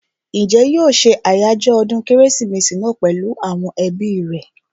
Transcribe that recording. Njẹ́ yóò ṣe àjọyọ̀ ọdún kérésìmesì náà pèlú àwọn ẹbí rẹ̀?